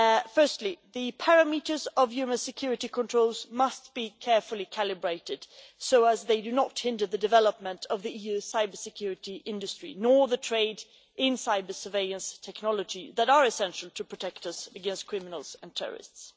Firstly, the parameters of human security controls must be carefully calibrated so that they do not hinder the development of the EU cybersecurity industry, nor the trade in cyber-surveillance technologies that are essential to protect us against criminals and terrorists.